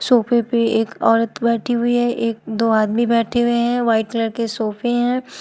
सोफे पे एक औरत बैठी हुई है एक दो आदमी बैठे हुए हैं व्हाइट कलर के सोफे है।